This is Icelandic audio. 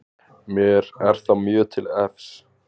Mér er það mjög til efs